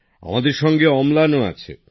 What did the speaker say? আমাদের সঙ্গে অম্লানও আছে